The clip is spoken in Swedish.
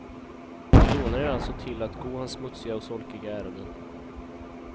Ni lånar er alltså till att gå hans smutsiga och solkiga ärenden.